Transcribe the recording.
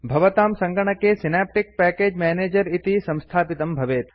भवतां सङ्गणके Synaptic package manager इति संस्थापितं भवेत्